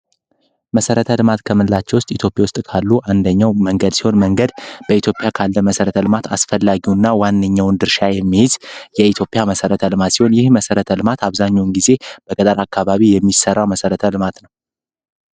መሰረተ ሕልማት ከምላቸው ውስጥ ኢትዮጵያ ውስጥ ካሉ አንደኛው መንገድ ሲሆን መንገድ በኢትዮጵያ ካለ መሠረት ዕልማት አስፈላጊውእና ዋንኛውን ድርሻ የሚሄዝ የኢትዮፒያ መሠረት ዕልማት ሲሆን ይህ መሠረት ዕልማት አብዛኛውን ጊዜ በገዳር አካባቢ የሚሠራ መሰረተ ዕልማት ነው።